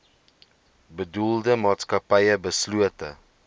bedoelde maatskappy beslote